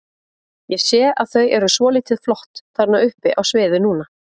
Ég sé að þau eru svolítið flott þarna uppi á sviði núna?